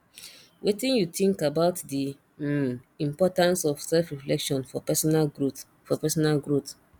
wetin you think about di um importance of selfreflection for personal growth for personal growth